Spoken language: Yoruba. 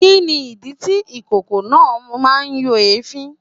Kini idi ti ikoko naa n yo èéfín